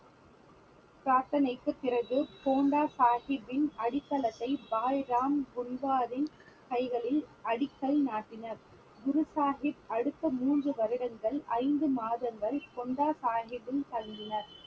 பிரார்த்தனைக்கு பிறகு பொண்டா சாஹிபின் அடித்தளத்தை கைகளில் அடிக்கல் நாட்டினார் குரு சாஹிப் அடுத்த மூன்று வருடங்கள் ஐந்து மாதங்கள் பொண்டா சாஹிப்பில் தங்கினார்